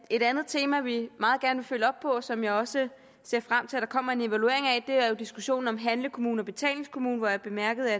et andet tema vi meget gerne vil følge op på og som jeg også ser frem til at der kommer en evaluering af er diskussionen om handlekommune og betalingskommune og her bemærkede